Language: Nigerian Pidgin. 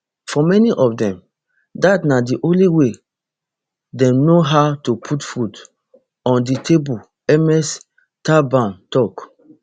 for many of dem dat na di only way dem know how to put food on di table ms thabane tok